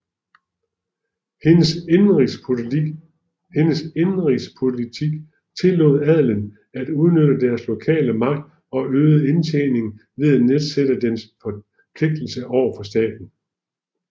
Hendes indenrigspolitik tillod adelen at udnytte dens lokale magt og øge indtjeningen ved at nedsætte dens forpligtelser over for staten